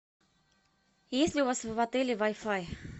есть ли у вас в отеле вай фай